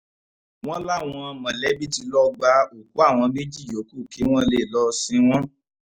wọ́n láwọn mọ̀lẹ́bí tí lọ́ọ́ gba òkú àwọn méjì yòókù kí wọ́n lè lọ́ọ́ sin wọ́n